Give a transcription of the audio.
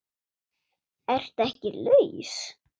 Ertu ekki laus?